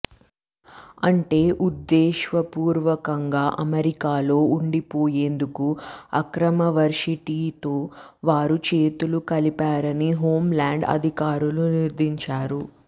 అంటే ఉద్ధేశపూర్వకంగా అమెరికాలో ఉండిపోయేందుకు అక్రమ వర్శిటీతో వారు చేతులు కలిపారని హోం ల్యాండ్ అధికారులు నిర్ధారించారు